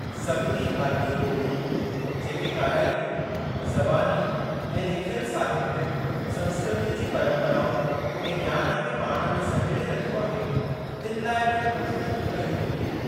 सभिनी भारतीय ॿोलियुनि, जेके काराइतियूं, ज़बानी ऐं लिखियल साहित्य, संस्कृतीअ जी परम्पराउनि ऐं ज्ञान खे पाण में सहेड़े रखियो आहे, तिनि लाइ पिण कोशिशूं कयूं वेंदियूं।